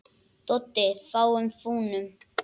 Doddi: Við fúnum.